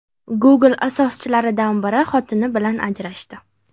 Google asoschilaridan biri xotini bilan ajrashdi.